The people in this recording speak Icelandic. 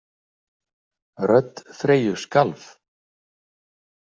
Rödd Freyju skalf.